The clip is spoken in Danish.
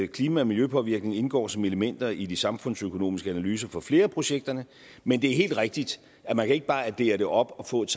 klima og miljøpåvirkning indgår som elementer i de samfundsøkonomiske analyser på flere af projekterne men det er helt rigtigt at man ikke bare kan addere det op og få et